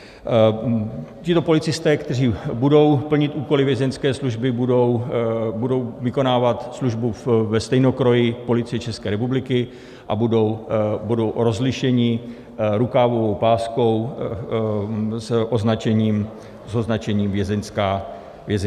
Tito policisté, kteří budou plnit úkoly Vězeňské služby, budou vykonávat službu ve stejnokroji Policie České republiky a budou rozlišeni rukávovou páskou s označením Vězeňská služba.